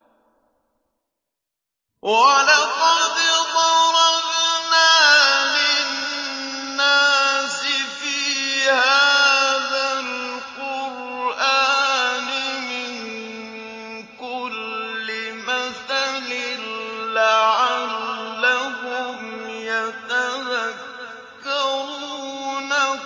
وَلَقَدْ ضَرَبْنَا لِلنَّاسِ فِي هَٰذَا الْقُرْآنِ مِن كُلِّ مَثَلٍ لَّعَلَّهُمْ يَتَذَكَّرُونَ